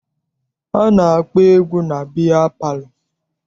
A na-akpọ egwu na biya palọ.